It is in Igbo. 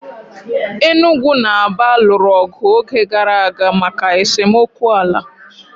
Enugwu na Aba lụrụ ọgụ oge gara aga maka esemokwu ala.